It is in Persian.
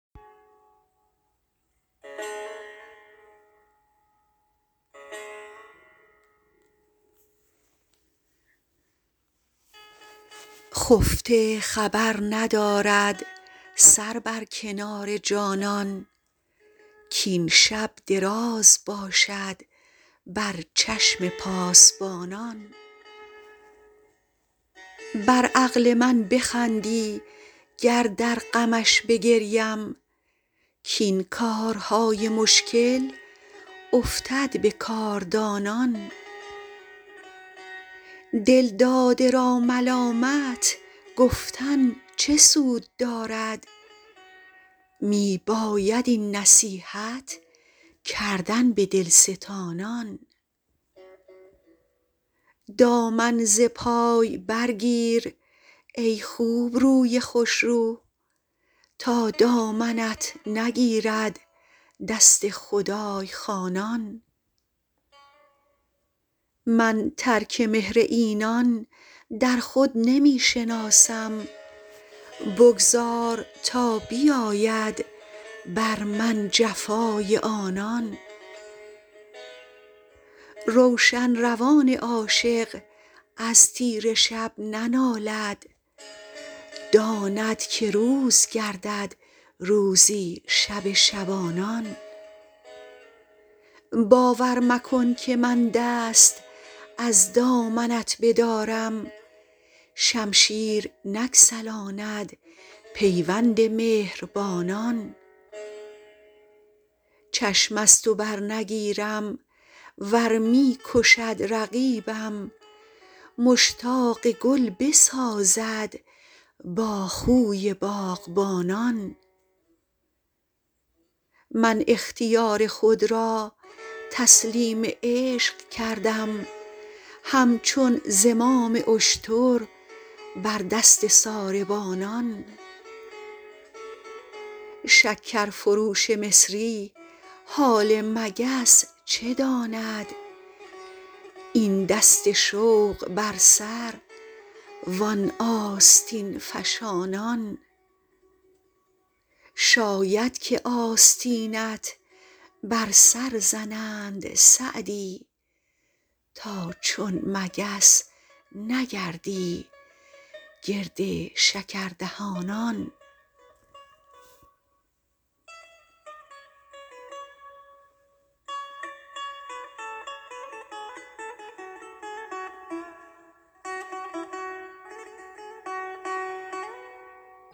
خفته خبر ندارد سر بر کنار جانان کاین شب دراز باشد بر چشم پاسبانان بر عقل من بخندی گر در غمش بگریم کاین کارهای مشکل افتد به کاردانان دلداده را ملامت گفتن چه سود دارد می باید این نصیحت کردن به دلستانان دامن ز پای برگیر ای خوبروی خوشرو تا دامنت نگیرد دست خدای خوانان من ترک مهر اینان در خود نمی شناسم بگذار تا بیاید بر من جفای آنان روشن روان عاشق از تیره شب ننالد داند که روز گردد روزی شب شبانان باور مکن که من دست از دامنت بدارم شمشیر نگسلاند پیوند مهربانان چشم از تو برنگیرم ور می کشد رقیبم مشتاق گل بسازد با خوی باغبانان من اختیار خود را تسلیم عشق کردم همچون زمام اشتر بر دست ساربانان شکرفروش مصری حال مگس چه داند این دست شوق بر سر وان آستین فشانان شاید که آستینت بر سر زنند سعدی تا چون مگس نگردی گرد شکردهانان